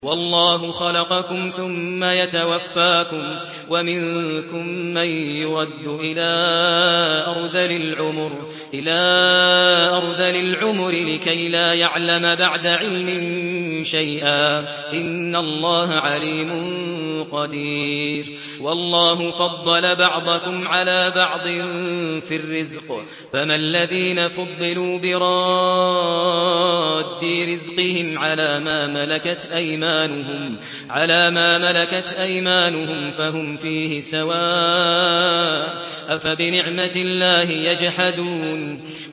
وَاللَّهُ خَلَقَكُمْ ثُمَّ يَتَوَفَّاكُمْ ۚ وَمِنكُم مَّن يُرَدُّ إِلَىٰ أَرْذَلِ الْعُمُرِ لِكَيْ لَا يَعْلَمَ بَعْدَ عِلْمٍ شَيْئًا ۚ إِنَّ اللَّهَ عَلِيمٌ قَدِيرٌ